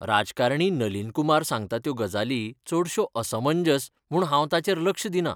राजकारणी नलीन कुमार सांगता त्यो गजाली चडश्यो असमंजस म्हूण हांव तांचेर लक्ष दिना.